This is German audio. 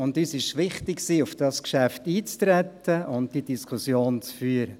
Uns war es wichtig, auf das Geschäft einzutreten und diese Diskussion zu führen.